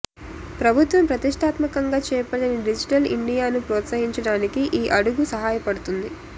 ప్రభుత్వం ప్రతిష్టాత్మకంగా చేపట్టిన డిజిటల్ ఇండియాను ప్రోత్సహించడానికి ఈ అడుగు సహాయపడుతుంది